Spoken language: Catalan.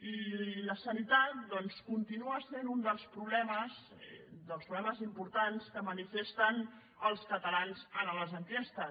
i la sanitat continua sent un dels problemes dels problemes importants que manifesten els catalans a les enquestes